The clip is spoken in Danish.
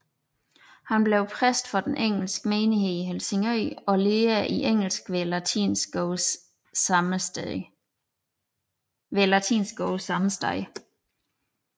Han blev præst for den engelske menighed i Helsingør og lærer i engelsk ved latinskolen sammesteds